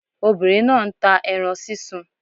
Obìnrin náà nta ẹran sísun